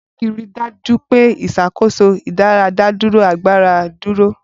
Bureki rí i dájú pé ìṣàkóso ìdádúró agbára dúró.